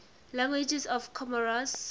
languages of comoros